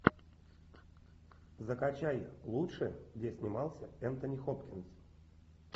закачай лучшее где снимался энтони хопкинс